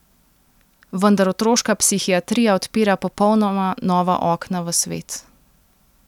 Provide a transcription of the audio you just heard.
Vendar otroška psihiatrija odpira popolnoma nova okna v svet.